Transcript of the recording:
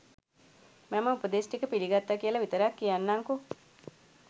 මම උපදෙස් ටික පිළිගත්තා කියලා විතරක් කියන්නංකෝ